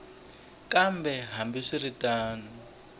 kambe hambi swi ri tano